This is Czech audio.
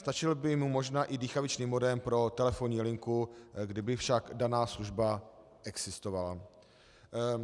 Stačil by mu možná i dýchavičný modem pro telefonní linku, kdyby však daná služba existovala.